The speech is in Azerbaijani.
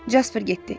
Jasper getdi.